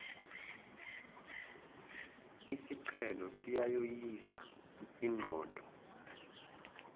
isiqhelo siyayoyisa inqondo